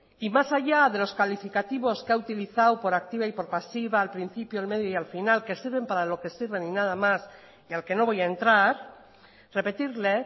y más allá de los calificativos que ha utilizado por activa y por pasiva al principio al medio y al final que sirven para lo que sirven y nada más y al que no voy a entrar repetirle